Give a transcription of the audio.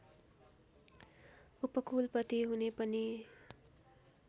उपकुलपति हुने पनि